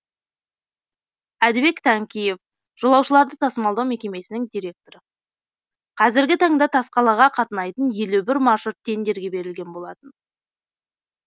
әдібек тәңкиев жолаушыларды тасымалдау мекемесінің директоры қазіргі таңда тасқалаға қатынайтын елу бір маршрут тендерге берілген болатын